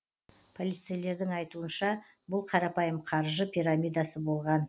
полицейлердің айтуынша бұл қарапайым қаржы пирамидасы болған